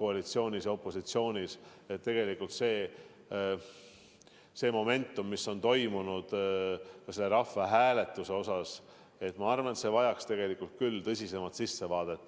koalitsioonis ja opositsioonis – tegelikult see momentum, mis on ilmnenud seoses selle rahvahääletusega, vajaks küll tõsisemat sissevaadet.